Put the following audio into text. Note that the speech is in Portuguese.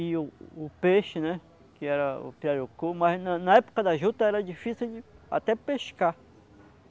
E o o peixe, né, que era o piarucu, mas na na época da juta era difícil até pescar.